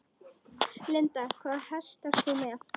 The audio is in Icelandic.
Linda: Hvaða hest ert þú með?